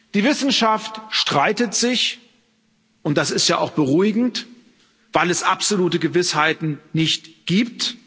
Die Wissenschaft streitet sich, und das ist ja auch beruhigend, weil es absolute Gewissheiten nicht gibt.